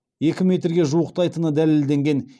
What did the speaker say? екі метрге жуықтайтыны дәлелденген